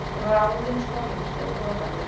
Ráðin skólameistari í Borgarbyggð